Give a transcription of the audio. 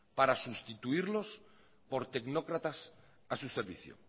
para sustituirlos por tecnócratas a su servicio